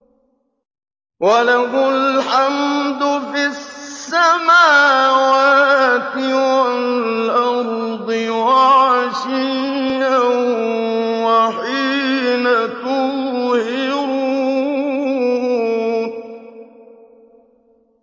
وَلَهُ الْحَمْدُ فِي السَّمَاوَاتِ وَالْأَرْضِ وَعَشِيًّا وَحِينَ تُظْهِرُونَ